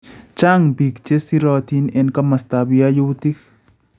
Chang� biik che sirotin eng komostab yayuutik